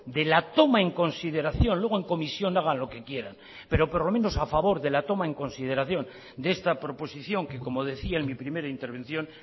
de la toma en consideración luego en comisión hagan lo que quieran pero por lomenos a favor de la toma en consideración de esta proposición que como decía en mi primera intervención